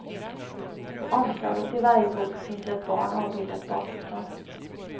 På omslaget till varje bok finns ett barn avbildat bakifrån.